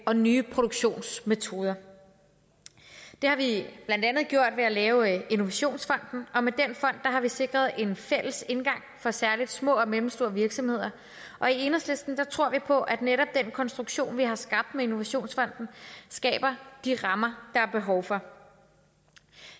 og nye produktionsmetoder det har vi blandt andet gjort ved at lave innovationsfonden og med den fond har vi sikret en fælles indgang for særlig små og mellemstore virksomheder og i enhedslisten tror vi på at netop den konstruktion vi har skabt med innovationsfonden skaber de rammer der er behov for